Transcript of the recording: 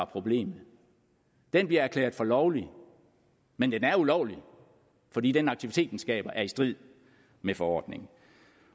problem den bliver erklæret for lovlig men den er ulovlig fordi den aktivitet den skaber er i strid med forordningen